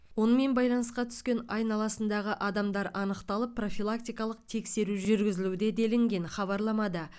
онымен байланысқа түскен айналасындағы адамдар анықталып профилактикалық тексеру жүргізілуде делінген хабарламада